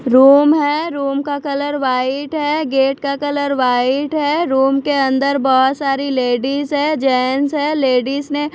room है room का colour white है गेट का कलर वाइट है रूम के अंदर बहुत सारी लेडीज हैं जेंट्स हैं लेडीज ने--